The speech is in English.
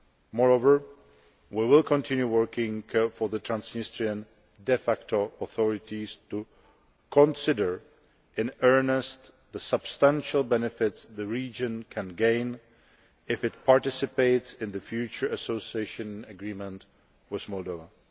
Moreover, we will continue working for the Transnistrian de facto authorities to consider in earnest the substantial benefits the region can gain if it participates in the future Association Agreement with Moldova.